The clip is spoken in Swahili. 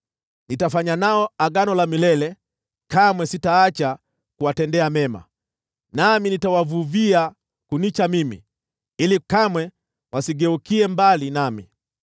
Nitafanya nao agano la milele: Kamwe sitaacha kuwatendea mema, nami nitawavuvia kunicha mimi, ili kamwe wasigeukie mbali nami.